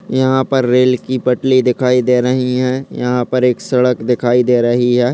यहाँ पर रेल की पटली दिखाई दे रही हैं | यहाँ पर एक सड़क दिखाई दे रही है।